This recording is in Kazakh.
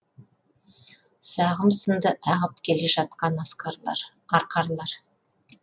сағым сынды ағып келе жатқан арқарлар